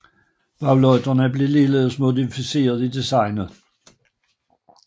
Baglygterne blev ligeledes modificeret i designet